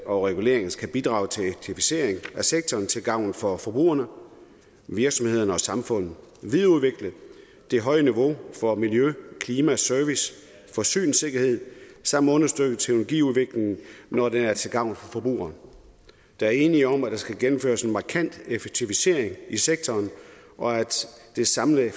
og reguleringen skal bidrage til effektivisering af sektoren til gavn for forbrugerne virksomhederne og samfundet og videreudvikle det høje niveau for miljø klima service og forsyningssikkerhed samt understøtte teknologiudviklingen når den er til gavn for forbrugerne der er enighed om at der skal gennemføres en markant effektivisering af sektoren og det samlede